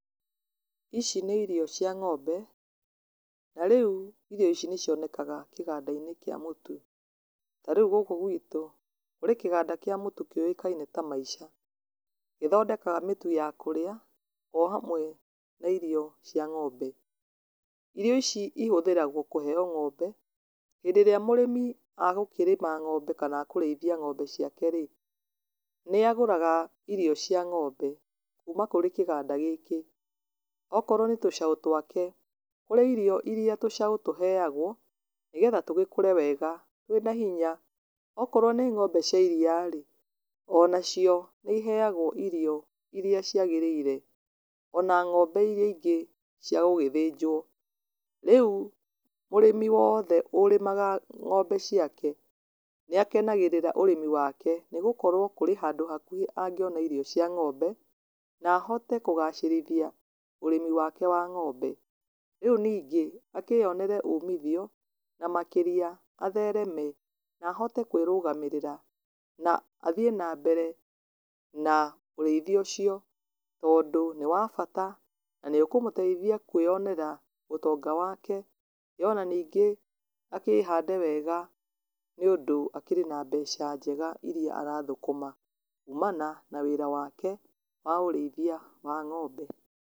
Ici nĩ irio cia ng'ombe, na rĩu irio ici nĩcionekaga kĩganda-inĩ kĩa mũtu, ta rĩu gũkũ gwitũ nĩ kũrĩ kĩganda kĩa mũtu kĩũĩkaine ta MAISHA, gĩthondekaga mĩtu ya kũrĩa, o hamwe na irio cia ng'ombe. Irio ici cihũthagĩrwo kũheyo ng'ombe, hĩndĩ ĩrĩa mũrĩmi agũkĩrĩma ng'ombe kana agũkĩrĩithia ng'ombe ciake rĩ, nĩagũraga irio cia ng'ombe kuma kũrĩ kĩganda gĩkĩ. Okorwo nĩ tũcaũ twake kũrĩ irio iria tũcaũ tũheagwo, nĩgetha tũgĩkũre wega, twĩ na hinya, okorwo nĩ ngombe cia iria rĩ, o na cio nĩiheagwo irio iria ciagĩrĩire, ona ngombe iria ingĩ cia gũgĩthĩnjwo. Rĩu mũrĩmi wothe ũrĩmaga ng'ombe ciake, nĩakenagĩrĩra ũrĩmi wake nĩ gĩkoragwo, kũrĩ handũ hakuhĩ angĩona irio cia ng'ombe na ahote kũgacĩrithia ũrĩmi wake wa ng'ombe. Rĩu ningĩ akĩyonere umithio na makĩria athereme na ahote kũĩrũgamĩrĩra. Na athiĩ na mbere na ũrĩithi ũcio, tondũ nĩ wa bata na nĩũkũmũteithia kũĩyonera ũtonga wake, ĩ o na ningĩ akĩhande wega, nĩ ũndũ akĩrĩ na mbeca njega iria arathũkũma kũũmana na wĩra wake wa ũrĩithia wa ng'ombe.